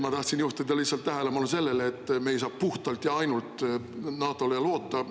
Ma tahtsin juhtida lihtsalt tähelepanu sellele, et me ei saa puhtalt ja ainult NATO-le loota.